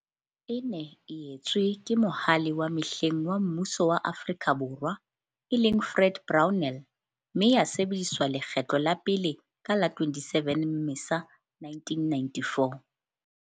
E ne e etswe ke Mohale wa mehleng wa mmuso wa Afrika Borwa, e leng, Fred Brownell, mme ya sebediswa lekgetlo la pele ka la 27 Mmesa 1994.